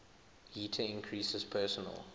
heater increases personal